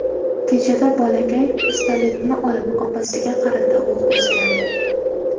Natijada bolakay pistoletni olib, opasiga qarata o‘q uzgan.